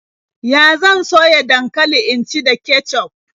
Yan zan soya dankali in ci da kecuf.